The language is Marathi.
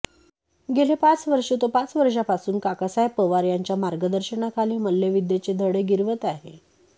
गेले पाच वर्षे तो पाच वर्षांपासून काकासाहेब पवार यांच्या मार्गदर्शनाखाली मल्लविद्येचे धडे गिरवत आहे